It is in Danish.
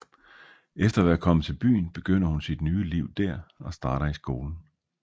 Efter at være kommet til byen begynder hun sit nye liv der og starter i skolen